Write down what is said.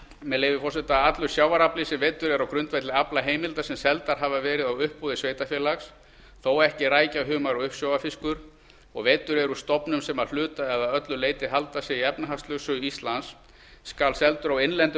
með leyfi forseta allur sjávarafli sem veiddur er á grundvelli aflaheimilda sem seldar hafa verið á uppboði sveitarfélags þó ekki rækja humar og uppsjávarfiskur og veiddur er úr stofnum sem að hluta eða öllu leyti halda sig í efnahagslögsögu íslands skal seldur á innlendum